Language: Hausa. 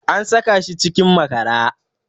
An saka shi cikin makara